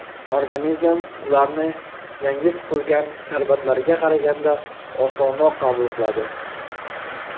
Organizm ularni yangi siqilgan sharbatlarga qaraganda osonroq qabul qiladi.